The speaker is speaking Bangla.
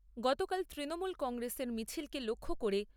গতকাল তৃণমূল কংগ্রেসের মিছিলকে লক্ষ্য করে